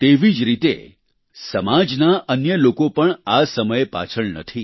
તેવી જ રીતે સમાજના અન્ય લોકો પણ આ સમયે પાછળ નથી